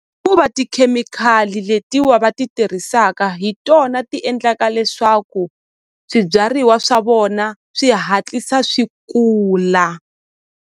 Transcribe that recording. Hikuva tikhemikhali letiwa va ti tirhisaka hi tona ti endlaka leswaku swibyariwa swa vona swi hatlisa swi kula.